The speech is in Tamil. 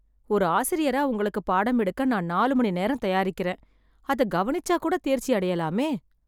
ஒரு ஆசிரியரா உங்களுக்கு பாடம் எடுக்க நான் நாலு மணி நேரம் தயாரிக்கிறேன், அத கவனிச்சா கூட தேர்ச்சி அடையலாமே.